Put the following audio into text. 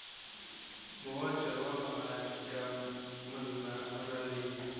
moota wa bogadi ka moraleng